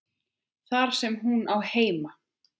Þar sem hún á heima.